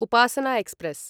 Upasana express